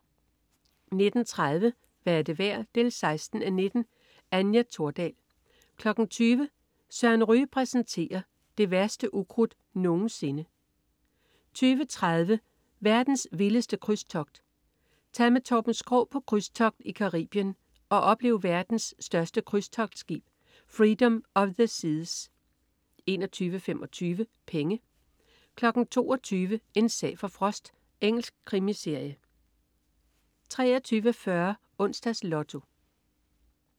19.30 Hvad er det værd? 16:19. Anja Thordal 20.00 Søren Ryge præsenterer. Det værste ukrudt nogensinde 20.30 Verdens vildeste krydstogt. Tag med Torben Schou på krydstogt i Caribien og oplev verdens største krydstogtskib, Freedom of the Seas 21.25 Penge 22.00 En sag for Frost. Engelsk krimiserie 23.40 Onsdags Lotto